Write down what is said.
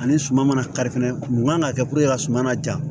Ani suma mana kari fɛnɛ mun kan ka kɛ ka suma na ja